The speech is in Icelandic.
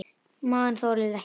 Maginn þolir ekki lengur bið.